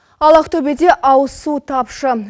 ал ақтөбеде ауыз су тапшы